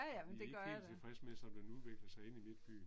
Vi er ikke helt tilfreds med som den udvikler sig inde i midtbyen